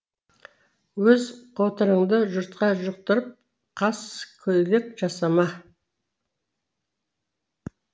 өз қотырыңды жұртқа жұқтырып қаскөйлік жасама